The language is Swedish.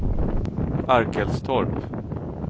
Arkelstorp